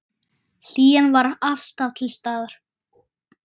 Hlýjan var alltaf til staðar.